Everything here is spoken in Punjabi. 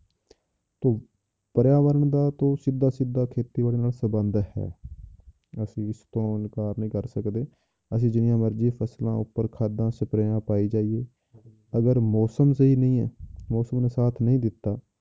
ਪਰਿਆਵਰਨ ਦਾ ਤਾਂ ਸਿੱਧਾ ਸਿੱਧਾ ਖੇਤੀਬਾੜੀ ਨਾਲ ਸੰਬੰਧ ਹੈ ਅਸੀਂ ਇਸ ਤੋਂ ਇਨਕਾਰ ਨਹੀਂ ਕਰ ਸਕਦੇ, ਅਸੀਂ ਜਿੰਨੀਆਂ ਮਰਜ਼ੀ ਫਸਲਾਂ ਉੱਪਰ ਖਾਦਾਂ ਸਪਰੇਆਂ ਪਾਈ ਜਾਈਏ ਅਗਰ ਮੌਸਮ ਸਹੀ ਨਹੀਂ ਹੈ ਮੌਸਮ ਨੇ ਸਾਥ ਨਹੀਂ ਦਿੱਤਾ।